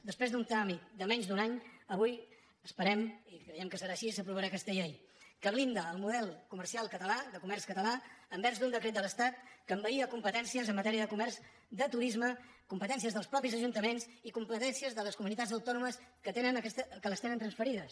després d’un tràmit de menys d’un any avui esperem ho i creiem que serà així s’aprovarà aquesta llei que blinda el model comercial català de comerç català envers un decret de l’estat que envaïa competències en matèria de comerç de turisme competències dels mateixos ajuntaments i competències de les comunitats autònomes que les tenen transferides